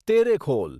Terekhol